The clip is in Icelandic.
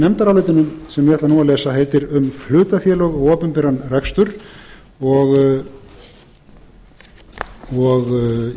nefndarálitinu sem ég ætla nú að lesa heitir um hlutafélög og opinberan rekstur og